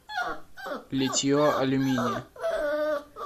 литье алюминия